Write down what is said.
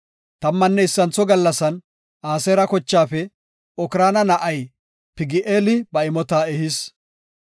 Tammanne issintho gallasan Aseera kochaafe Okraana na7ay Pagi7eeli ba imota ehis.